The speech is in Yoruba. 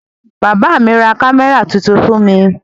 Bàbá mi ra kámẹ́rà tuntun fún mi